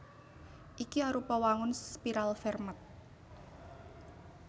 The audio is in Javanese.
Iki arupa wangun spiral Fermat